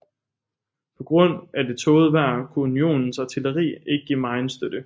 På grund af det tågede vejr kunne Unionens artilleri ikke give megen støtte